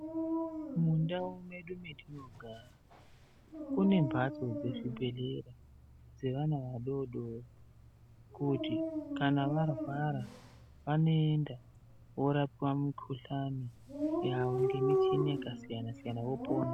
Mundau mwedu matinogara kune mbatso dzechibhehkera dzevana vadodori kuti kana marwa vanoenda vorapwa mukuhlani yavo nemichini yakasiyana siyana vopona.